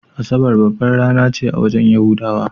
Asabar babbar rana ce a wajen yahudawa.